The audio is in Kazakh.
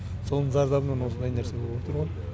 соның зардабынан осындай нәрсе болып отырғо